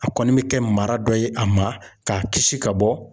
A kɔni bɛ kɛ mara dɔ ye a ma, k'a kisi ka bɔ.